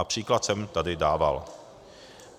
A příklad jsem tady dával.